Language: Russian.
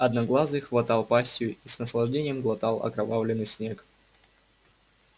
одноглазый хватал пастью и с наслаждением глотал окровавленный снег